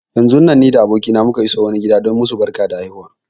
Yanzun nan ni da abokina muka iso wani gida don yi masu barkar haihuwa.